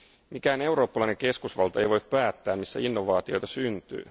Mikään eurooppalainen keskusvalta ei voi päättää missä innovaatioita syntyy.